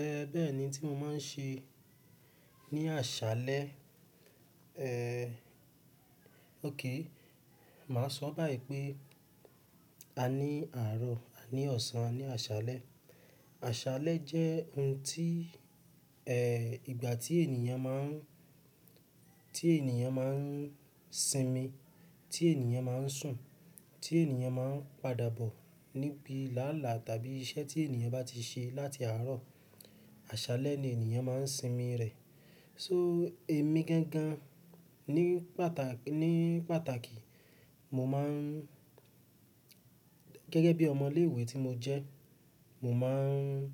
Ẹ, bẹ́ẹ̀ni ntí mo máa ń ṣe ní àṣálẹ́, ẹ, òkè. Mà á sọ báyìí pé a ní àárọ̀, a ní ọ̀sán, a ní àṣálẹ́. Àṣálẹ́ jẹ́ ohun tí, ẹ, ìgbà tí ènìyàn máa ń, tí ènìyàn máa ń sinmi, tí ènìyàn máa ń sùn, tí ènìyàn máa ń padà bọ̀ níbi láàlá tàbí iṣẹ́ tí ènìyàn bá ti ṣe láti àárọ̀, àṣálẹ́ ni ènìyàn máa ń sinmi rẹ̀. So èmi gangan ní pàtàkì, ní pàtàkì, mo máa ń, gẹ́gẹ́ bí ọmọ ilé ìwé tí mo jẹ́, mo máa ń,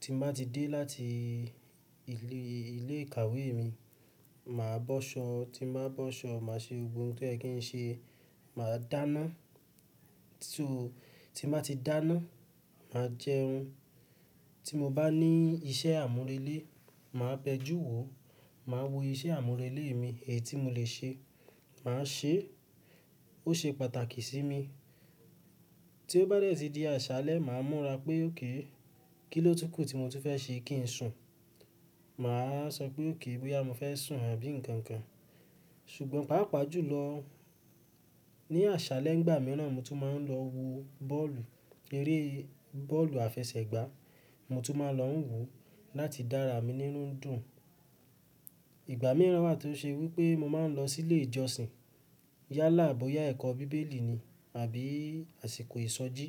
tí mo bá ti dé láti ilé, ilé ìkàwé mi, mà á bọ́ṣọ̀, tí mo bá bọ́ṣọ̀, mà á ṣe gbogbo n tó yẹ kí n ṣe, mà á dáná. So tí mo bá ti dáná, mà á jẹun. Tí mo bá ní iṣẹ́ àmúrelé, mà á bẹjú wò, mà á wo iṣẹ́ àmúrelé mi, èyí tí mo lè ṣe, mà á ṣe, ó ṣe pàtàkì sí mi. Tí ó bá dẹ́ ti di àṣálẹ́, mà á múra pé òkè, kí ló túkù tí mo túń fẹ́ ṣe kí n sùn. Mà á sọ pé òkè bóyá mo fẹ́ sùn àbí ǹkan kan. Ṣùgbọ́n pàápàá jùlọ ní àṣálẹ́ n gbà mìíràn mo tún máa ń lọ wo bọ́ọ̀lù, eré bọ́ọ̀lù àfẹsẹ̀gbá, mo tún máa ń lọ wò ó láti dára mi nínú dùn. Ìgbà mìíràn wà tó ṣe wí pé mo máa ń lọ sí ilé ìjọsìn. Yálà àbo ya ẹ̀kọ́ Bíbélì ni àbí àsìkò ìsọjí,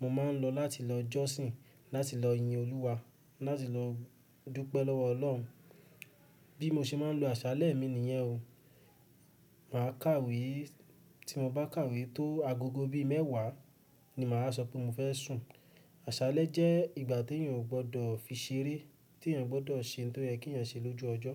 mo máa ń lọ láti lọ jọ́sìn, láti lọ yin Olúwa, láti lọ dúpẹ́ lọ́wọ́ Ọlọ́run. Bí mo ṣe máa ń lo àṣálẹ́ mi nìyẹn o. Mà á kàwé, tí mo bá kàwé tó agogo bí mẹ́wàá ni mà á sọ pé mo fẹ́ sùn. Àṣálẹ́ jẹ́ ìgbà tí ènìyàn ò gbọdọ̀ fi ṣeré, tí ènìyàn gbọdọ̀ ṣe n tó yẹ kí ènìyàn ṣe lójú ọjọ́.